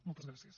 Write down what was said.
moltes gràcies